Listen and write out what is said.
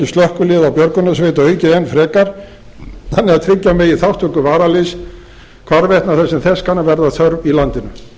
slökkviliða og björgunarsveita aukið enn frekar þannig að tryggja megi þátttöku varaliðs hvarvetna þar sem þess kann að verða þörf í landinu